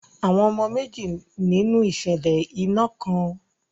Àwọn ọmọ méjì nínú ìṣẹ̀lẹ̀ iná kan.